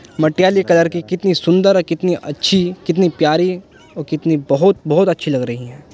Matiyali colour की कितने सुंदर कितनी अच्छी कितनी प्यारी कितनी बहुत बहुत अच्छी लग रही हैं।